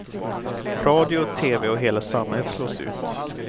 Radio, tv och hela samhället slås ut.